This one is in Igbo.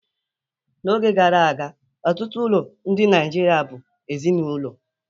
N'oge gara aga, ọtụtụ ụlọ ndị Nigeria bụ ezinaụlọ